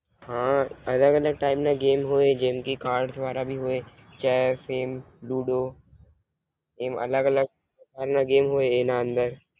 હાં અલગ અલગ ટાયપ ના ગેમ્સ હોઈ જેમકે. કાર્ડસ વાળા ભી હોય ચેસ એમ લુડો એમ અલગ અલગ પ્રકાર ના ગેમ્સ હોઈ છે એના અંદર